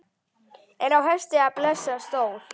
Er á hesti blesa stór.